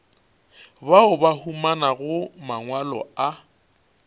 bao ba humanago mangwalo a